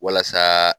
Walasa